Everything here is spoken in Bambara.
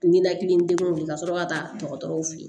Ninakili degun de ka sɔrɔ ka taa dɔgɔtɔrɔw fe yen